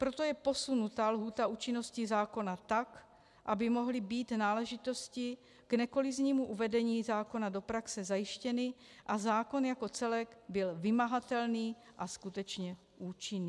Proto je posunuta lhůta účinnosti zákona tak, aby mohly být náležitosti k nekoliznímu uvedení zákona do praxe zajištěny a zákon jako celek byl vymahatelný a skutečně účinný.